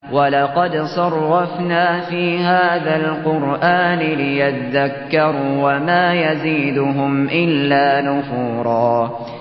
وَلَقَدْ صَرَّفْنَا فِي هَٰذَا الْقُرْآنِ لِيَذَّكَّرُوا وَمَا يَزِيدُهُمْ إِلَّا نُفُورًا